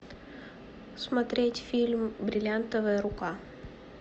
смотреть фильм бриллиантовая рука